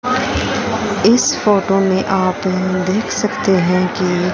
इस फोटो में आप यहां देख सकते हैं कि--